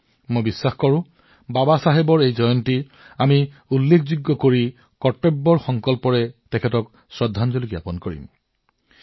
মোৰ বিশ্বাস যে আমি নিশ্চিতভাৱে বাবাচাহেবৰ এই জন্মবাৰ্ষিকী স্মৰণীয় কৰি তুলিম দায়িত্ব সহকাৰে সংকল্প গ্ৰহণ কৰিম আৰু তেওঁলৈ শ্ৰদ্ধাঞ্জলি জ্ঞাপন কৰিম